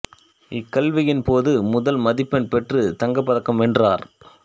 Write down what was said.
இக்கல்வியின் போது முதல் மதிப்பெண் பெற்றுத் தங்கப் பதக்கம் வென்றார்